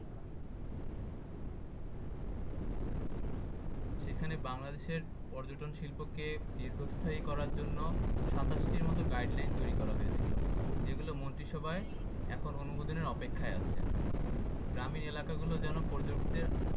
সেখানে বাংলাদেশের পর্যটন শিল্পকে দীর্ঘস্থায়ী করার জন্য সাতাশটির মতো guideline তৈরি করা হয়েছিল। যেগুলো মন্ত্রিসভায় এখন অনুমোদনের অপেক্ষায় আছে। গ্রামীণ এলাকা গুলো যেন